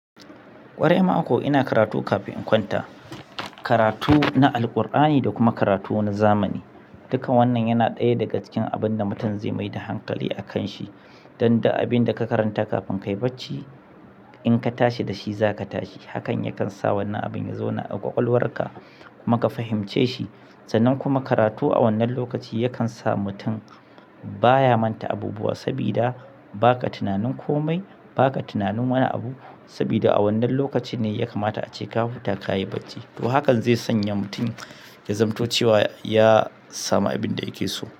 Ƙwarai ma ko ina karatu kafin in kwanta, karatu na Alqur'ani da kuma karatu na zamani. Dukkan wannan yana ɗaya daga cikin abun da mutum zai mai da hankali a kan shi. Don da abin da ka karanta kafin kayi bacci, in ka tashi da shi za ka tashi. Hakan yakan sa wannan abin ya zauna a ƙwaƙwalwar ka kuma ka fahimce shi. Sanan kuma karatu a wannan lokaci yakan sa mutum baya manta abubuwa, sabida ba ka tunanin komai, ba ka tunanin wani abu. Sabida a wannan lokaci ne ya kamata ace ka huta, ka yi bacci. To hakan zai sanya mutum ya zamto cewa ya samu abin da yake so.